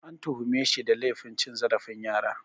An tuhume shi da laifin cin zarafin yara